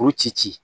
K'o ci ci